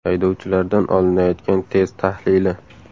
Haydovchilardan olinayotgan test tahlili.